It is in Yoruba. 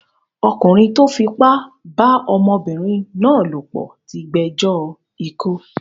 Ọkùnrin tó fipá bá ọmọbìnrin náà lòpọ̀ tí gbẹjọ́ ikú.